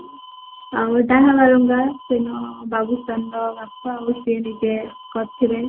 ଆଉ ଡାହା ବାଳୁଙ୍ଗା ବାବୁସାନ୍ ର ବାପା ଆଉ ସିଏ ନିଜେ କରିଥିବେ